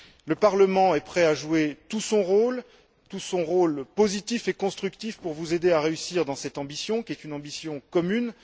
Le Parlement est prêt à jouer tout son rôle, tout son rôle positif et constructif, pour vous aider à réussir dans cette ambition qui est une ambition commune.